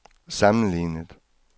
sammenlignet